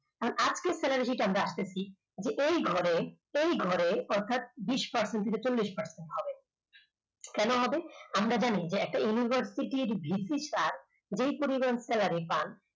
upto salary conductivity এই ঘরে এই ঘরে অর্থাৎ বিষ percent থেকে চল্লিশ percent হবে, কেন হবে আমরা জানি একটা University র visitor যে পরিমাণ salary পান